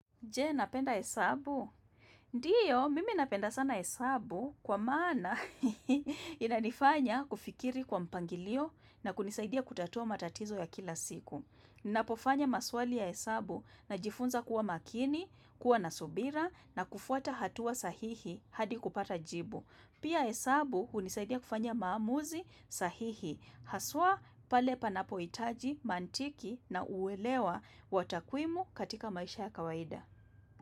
Je, napenda hesabu? Ndiyo, mimi napenda sana hesabu kwa maana inanifanya kufikiri kwa mpangilio na kunisaidia kutatua matatizo ya kila siku. Napofanya maswali ya hesabu najifunza kuwa makini, kuwa na subira na kufuata hatua sahihi hadi kupata jibu. Pia hesabu hunisaidia kufanya maamuzi sahihi. Haswa pale panapohitaji, mantiki na uwelewa wa takwimu katika maisha ya kawaida.